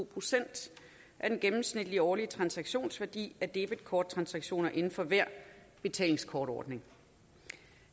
procent af den gennemsnitlige årlige transaktionsværdi af debetkorttransaktioner inden for hver betalingskortordning